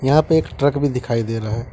यहां पे एक ट्रक भी दिखाई दे रहा है।